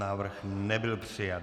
Návrh nebyl přijat.